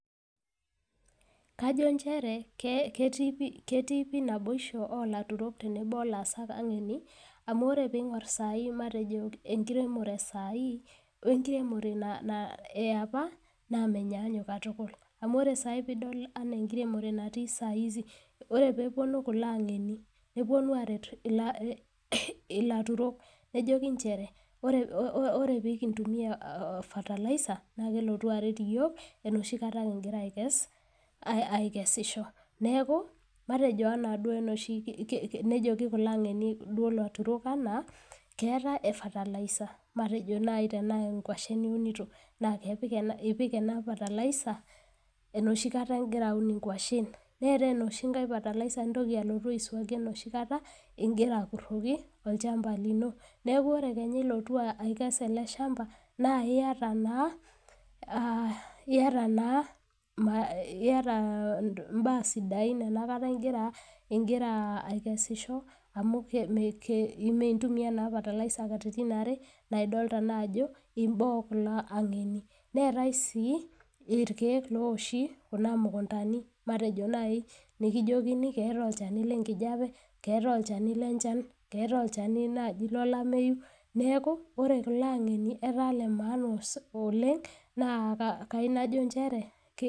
kajo nchere ketii pii naboisho oolaturok tenebo olaasak ang`eni amuu oree piingorr sahii matejo enkiremore ee sahii oo enkiremore ee apa naa menyanyuk katukul amu oree sai pidol ena enkiremore natii saa hizi oree peeponu kulo ang`eni neponu aaret ilaturok nejoki inchere oree oeekintumia fertilizer naa kelotu aret iyiok enoshi kataa kingira aakesisho neeku matejo enaa duo enoshi nejeki kulo ang`eni duo ilaturok enaa keeta ee fertilizer matejo nayii tenaa inkuashen niunito naa ipik ena fertilizer enoshi kata ingira aun inkwashen neetae enoshi nkae fertilizer nintoki alotu aiswaki enoshi kata ingirra akurroki olchampa lino neeku ore kenya ilotu aikes ele shampa naa iyata naa iyata naa iyata imbaa sidain ena kata ingira ingira aikesisho amuu mee intumia naa fertilizer katitin are naa idolta naa ajo imbaa oo kulo ang`eni neetae sii irkiek loowoshi kuna mukundani matejo nayii nikijokini keeta olchani le nkijape keetae olchani lee nnchan keetae olchani naaji lolameyu neeku ore kulo ang`eni ataa ile maana oleng` naa kaayiu najo nchere.